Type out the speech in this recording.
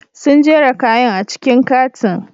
Sun jera kayan a cikin katin.